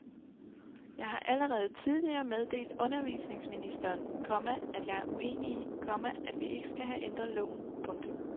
Jeg har allerede tidligere meddelt undervisningsministeren, komma at jeg er uenig i, komma at vi ikke skal have ændret loven. punktum